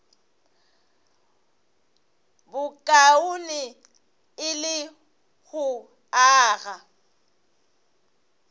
bokaone e le go aga